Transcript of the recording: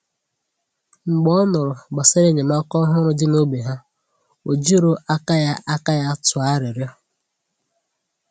Mgbe ọ nụrụ gbasàrà enyémàkà òhùrù dị n’ógbè ha, ó jìrò aka ya aka ya tụọ arịrịọ.